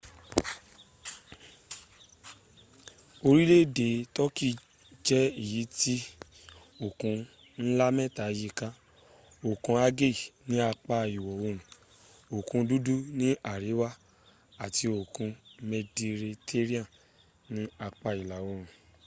orile ede turkey je eyiti okun nla meta yi ka okun aegean ni apa iwo oorun okun dudu ni ariwa ati okun medirettanean ni apa ila oorun